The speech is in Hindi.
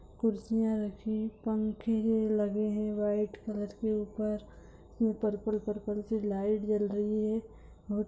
कुर्सियां रखी हुई पंखे लगे है। व्हाइट के ऊपर ये पर्पल पर्पल सी लाइट जल रही हैं।